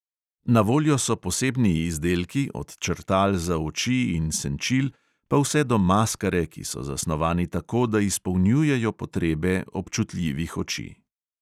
Na voljo so posebni izdelki, od črtal za oči in senčil pa vse do maskare, ki so zasnovani tako, da izpolnjujejo potrebe občutljivih oči.